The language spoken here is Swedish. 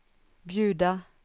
bjuda